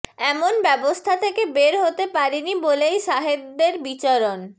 এমন ব্যবস্থা থেকে বের হতে পারিনি বলেই সাহেদদের বিচরণ